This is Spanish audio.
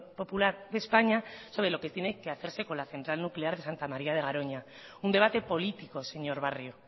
popular de españa sobre lo que tiene que hacerse con la central nuclear de santa maría de garoña un debate político señor barrio